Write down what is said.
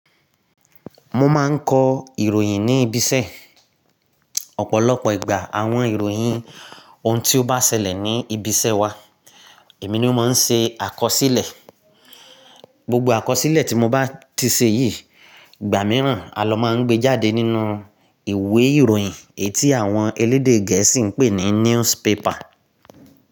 Mo máa ń kọ ìròyìn ní ibiṣẹ́. Ọ̀pọ̀lọpọ̀ ìgbà àwọn ìròyìn ohun tí ó bá ṣẹlẹ̀ ní ibiṣẹ́ wa, èmi ni mo máa ń ṣe àkọsílẹ̀. Gbogbo àkọsílẹ̀ tí mo bá ti ṣe yìí, ìgbà mìíràn a ló máa ń gbé jáde nínú ìwé ìròyìn ẹyi ti àwọn elédè Gẹ̀ẹ́sì ń pè ní newspaper.